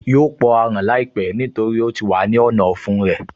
Yóò pọ aràn láìpẹ́ nítorí ó ti wà ní ọ̀nà ọ̀fun rẹ̀